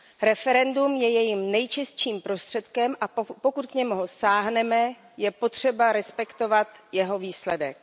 Referendum je jejím nejčistším prostředkem, a pokud k němu sáhneme, je potřeba respektovat jeho výsledek.